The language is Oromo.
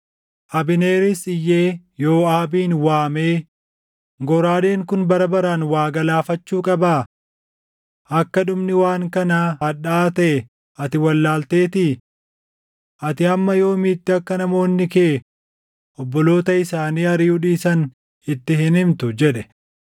Abneeris iyyee Yooʼaabin waamee, “Goraadeen kun bara baraan waa galaafachuu qabaa? Akka dhumni waan kanaa hadhaaʼaa taʼe ati wallaalteetii? Ati hamma yoomiitti akka namoonni kee obboloota isaanii ariʼuu dhiisan itti hin himtu?” jedhe.